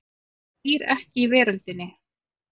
Hann býr ekki í veröldinni.